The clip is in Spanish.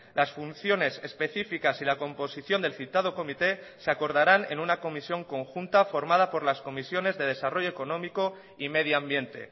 las funciones específicas y la composición del citado comité se acordarán en una comisión conjunta formada por las comisiones de desarrollo económico y medioambiente